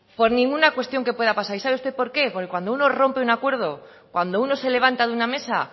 por ninguna cuestión que pueda pasar y sabe usted por qué porque cuando uno rompe un acuerdo cuando uno se levanta de una mesa